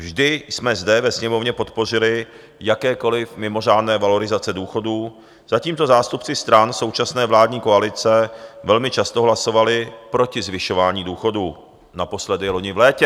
Vždy jsme zde ve Sněmovně podpořili jakékoliv mimořádné valorizace důchodů, zatímco zástupci stran současné vládní koalice velmi často hlasovali proti zvyšování důchodů, naposledy loni v létě.